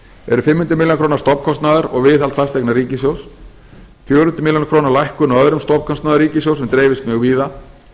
eru fimm hundruð milljóna króna stofnkostnaður og viðhald fasteigna ríkissjóðs fjögur hundruð milljóna króna lækkun á öðrum stofnkostnaði ríkissjóðs sem dreifist mjög víða